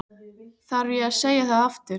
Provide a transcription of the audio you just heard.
Þarf ég að segja það aftur?